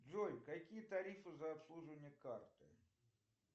джой какие тарифы за обслуживание карты